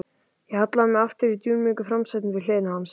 Ég hallaði mér aftur í dúnmjúku framsætinu við hlið hans.